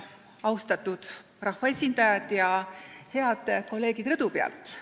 Austatud rahvaesindajad ja head kolleegid rõdu peal!